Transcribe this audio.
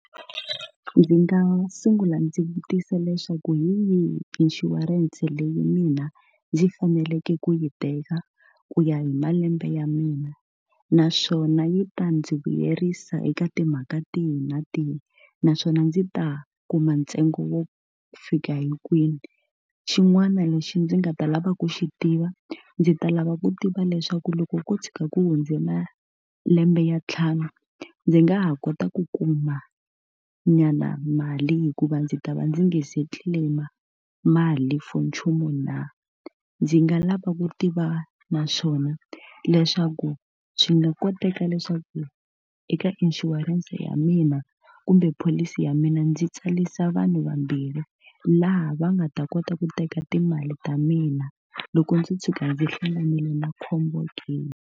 Ndzi nga sungula ndzi vutisa leswaku hi yihi inshurense leyi mina ndzi faneleke ku yi teka ku ya hi malembe ya mina? Naswona yi ta ndzi vuyerisa eka timhaka tihi na tihi? Naswona ndzi ta kuma ntsengo wo fika hi kwini? Xin'wana lexi ndzi nga ta lava ku xi tiva, ndzi ta lava ku tiva leswaku loko ko tshuka ku hundze malembe ya ntlhanu ndzi nga ha kota ku kumanyana mali hikuva ndzi ta va ndzi nge se claim-a mali for nchumu na? Ndzi nga lava ku tiva na swona leswaku swi nga koteka leswaku eka inshurense ya mina kumbe pholisi ya mina ndzi tsarisa vanhu vambirhi, laha va nga ta kota ku teka timali ta mina loko ndzo tshuka ndzi hlanganile na khombo ke?